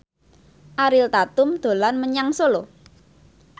Ariel Tatum dolan menyang Solo